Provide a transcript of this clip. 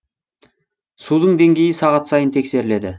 судың деңгейі сағат сайын тексеріледі